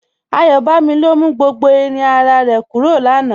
Ayọbámí ló mú gbogbo ìrùn àrà rẹ̀ kúrọ̀ láńà.